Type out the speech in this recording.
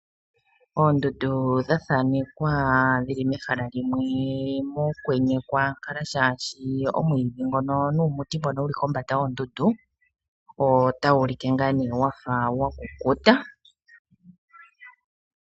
Oondundu dha thaanekwa dhili mehala limwe mokwenye kwaankala shaashi omwiidhi nuumuti mbono wu li kombanda yoondundu otawu ulike ngaa nee wafa wa kukuta.